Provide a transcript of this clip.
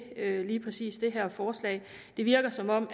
lige præcis det her forslag det virker som om